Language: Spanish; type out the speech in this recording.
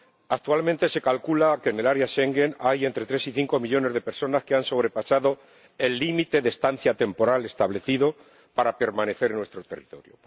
Actualmente se calcula que en el área Schengen hay entre tres y cinco millones de personas que han sobrepasado el límite de estancia temporal establecido para permanecer en nuestro territorio.